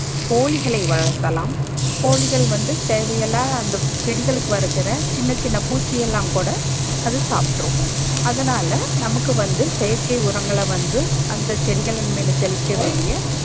கோழிகளை வழத்தலாம் கோழிகள் வந்து தேவையில்லா அந்த செடிகளுக்கு வருகிற சின்ன சின்ன பூச்சியெல்லாம் கூட அது சாப்ட்ரும் அதனால நமக்கு வந்து செயற்க்கை உரங்களை வந்து அந்த செடிகளின் மீது தெளிக்க வேண்டிய